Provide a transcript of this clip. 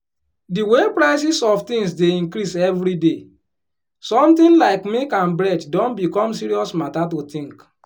di way prices of things dey increase everyday something like milk and bread don become serious matter to think